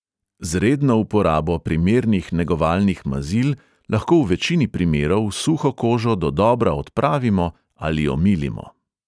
Z redno uporabo primernih negovalnih mazil lahko v večini primerov suho kožo dodobra odpravimo ali omilimo.